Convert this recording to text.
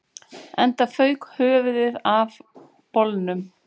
Enda fauk höfuðið af bolnum